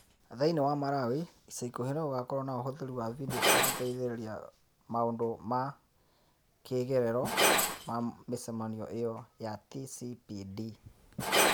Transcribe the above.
Thĩinĩ wa Malawi, ica ikuhĩ nĩ gũgakorũo na ũhũthĩri wa video cia gũteithĩrĩria gũteithĩrĩria maũndũ ma "kĩĩgerero" ma mĩcemanio ĩyo ya TCPD.